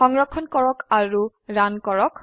সংৰক্ষণ কৰক আৰু ৰান কৰক